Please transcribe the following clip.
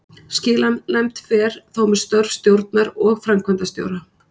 Skilanefnd fer þó með störf stjórnar og framkvæmdastjóra.